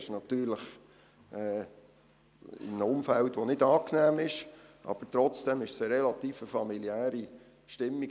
Es ist natürlich in einem Umfeld, das nicht angenehm ist, aber trotzdem ist es eine relativ familiäre Stimmung.